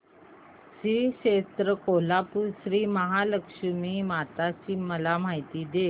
श्री क्षेत्र कोल्हापूर श्रीमहालक्ष्मी माता ची मला माहिती दे